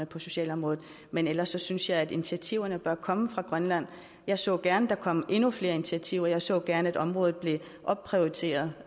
på socialområdet men ellers synes jeg at initiativerne bør komme fra grønland jeg så gerne at der kom endnu flere initiativer jeg så gerne at området blev opprioriteret